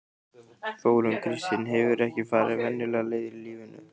Þórunn Kristín hefur ekki farið venjulegar leiðir í lífinu.